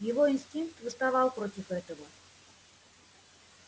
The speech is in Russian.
его инстинкт восставал против этого